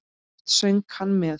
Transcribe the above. Oft söng hann með.